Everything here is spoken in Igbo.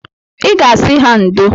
I ga-asị ha ndo